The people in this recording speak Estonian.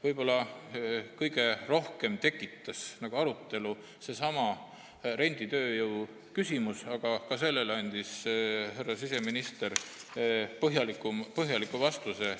Võib-olla kõige rohkem tekitas arutelu seesama renditööjõu küsimus, aga ka sellele andis härra siseminister põhjaliku vastuse.